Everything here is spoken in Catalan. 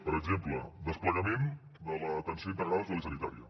per exemple desplegament de l’atenció integrada social i sanitària